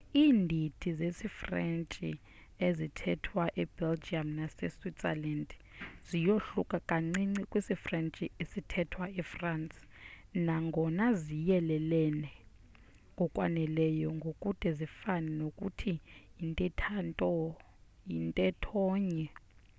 indidi zesifrentshi ezithethwa e belgium nase switzerland ziyohluka kancinci kwisifrentshi esithethwa efrance nangona ziyelelene ngokwaneleyo ngokude zifane nokuthi yintethonye